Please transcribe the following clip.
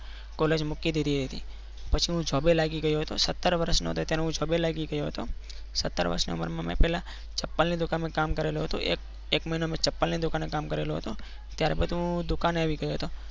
school મૂકી દીધી હતી પછી હું જો બે લાગી ગયો હતો સત્તર વર્ષનો હતો હું એટલે જો બે લાગી ગયો હતો સત્તર વર્ષની ઉંમરમાં મેં પહેલા ચપ્પલની દુકાન માં કામ કરેલું હતું. એક એક મહિનો મેં છપ્પાને દુકાનમાં કામ કરેલું હતું ત્યારબાદ હું દુકાને આવી ગયો હતો.